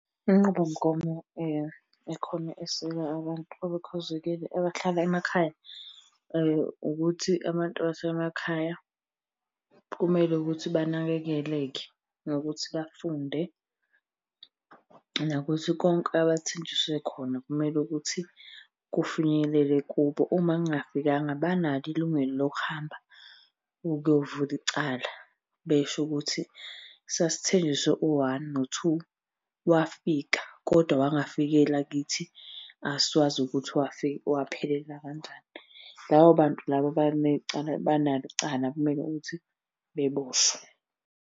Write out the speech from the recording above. Inqubomgomo ekhona eseka abantu abakhubazekile abahlala emakhaya ukuthi abantu basemakhaya kumele ukuthi banakekeleke ngokuthi bafunde, nokuthi konke abathenjiswe khona kumele ukuthi kufinyelele kubo. Uma kungafikanga banalo ilungelo lokuhamba ukuyovula icala besho ukuthi sasithenjiswe u-one no-two, wafika kodwa awangafikela kithi. Asiwazi ukuthi waphelela kanjani. Labo bantu laba banecala banalo icala, kumele ukuthi beboshwe.